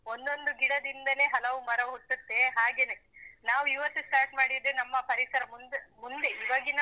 ಒಂದೊಂದು ಗಿಡದಿಂದಲೇ ಹಲವು ಮರು ಹುಟ್ಟುತ್ತೇ ಹಾಗೆನೇ, ನಾವು ಇವತ್ತು start ಮಾಡಿದ್ರೆ ನಮ್ಮ ಪರಿಸರ ಮುಂದೆ ಮುಂದೆ ಈವಾಗಿನ,